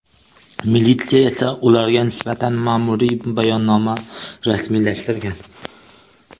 Militsiya esa ularga nisbatan ma’muriy bayonnoma rasmiylashtirgan .